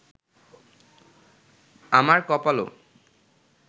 আমার কপালও